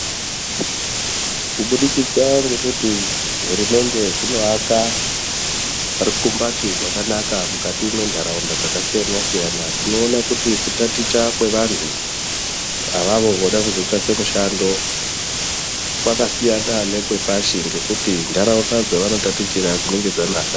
Kubudikidza ngekuti hurumende dzinoaka rukumbati rwakanaka mukati mwentaraunda dzakasiyana siyana tinoone kuti kutaticha kwevantu avavo vida kuzotsvaka mushando kwakasiyana nekwepashi ngekuti nharaunda dzavanotatichira dzinenge dzanaka.